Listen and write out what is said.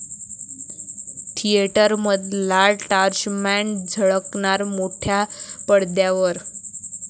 थिएटरमधला torchman झळकणार मोठ्या पडद्यावर